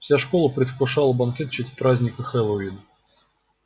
вся школа предвкушала банкет в честь праздника хэллоуин